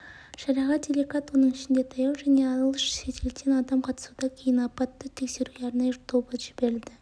шараға делегат оның ішінде таяу және алыс шетелден адам қатысуда кейін апатты тексеруге арнайы тобы жіберілді